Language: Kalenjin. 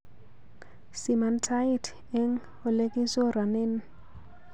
Siman tait eng olegichoronen